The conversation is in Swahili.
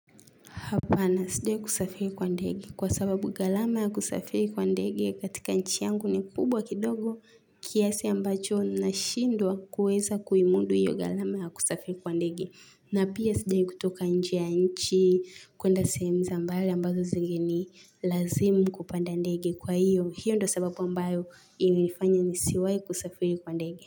Hapana, sijawai kusafiri kwa ndege kwa sababu galama kusafiri kwa ndege katika nchi yangu ni kubwa kidogo kiasi ambacho nashindwa kuweza kuimundu hiyo galama ya kusafiri kwa ndegi. Na pia sijawai kutoka nje ya nchi kuenda sehemu za mbali ambazo zingeni lazimu kupanda ndege kwa hiyo hiyo ndo sababu ambayo inifanya nisiwai kusafiri kwa ndegi.